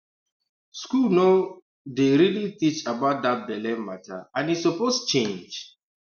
school no um dey really teach about that belle matter and e suppose change